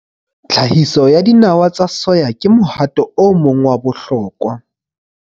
Tlhahiso ya dinawa tsa soya ke mohato o mong wa bohlokwa.